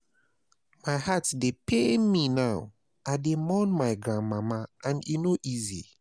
My heart dey pain me now, I dey mourn my grandmama and e no easy.